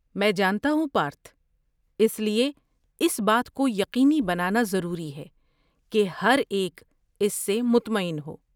میں جانتا ہوں پارتھ! اس لیے اس بات کو یقینی بنانا ضروری ہے کہ ہر ایک اس سے مطمئن ہو۔